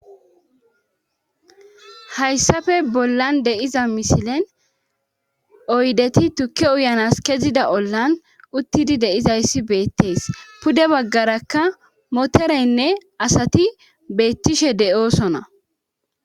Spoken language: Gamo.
hayssafe bollan deiza misilen oydeti tukke uyanas kezida ollan uttidi deizayssi beettees pude baggarakka motereynne asati beettishe de7oosona